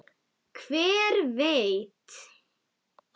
Hver veit!